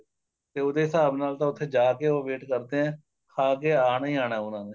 ਤੇ ਉਹਦੇ ਹਿਸਾਬ ਨਾਲ ਤਾਂ ਉੱਥੇ ਜਾ ਕੇ ਉੱਥੇ ਜਾ ਕੇ ਉਹ wait ਕਰਦੇ ਏ ਖਾ ਕੇ ਆਣਾ ਹੀ ਆਣਾ ਉਹਨਾ ਨੇ